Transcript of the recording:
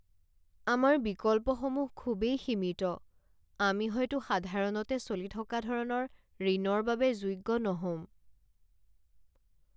আমাৰ বিকল্পসমূহ খুবেই সীমিত! আমি হয়তো সাধাৰণতে চলি থকা ধৰণৰ ঋণৰ বাবে যোগ্য নহ'ম।